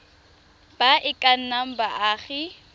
ba e ka nnang baagi